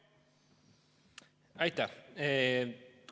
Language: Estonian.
Aitäh!